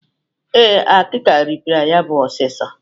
Ee, akịka rịpịara ya bụ osisi.